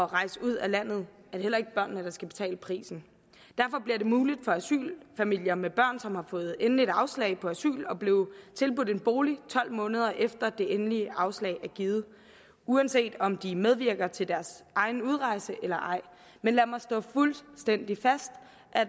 rejse ud af landet er det heller ikke børnene der skal betale prisen derfor bliver det muligt for asylfamilier med børn som har fået endeligt afslag på asyl at blive tilbudt en bolig tolv måneder efter det endelige afslag er givet uanset om de medvirker til deres egen udrejse eller ej men lad mig slå fuldstændig fast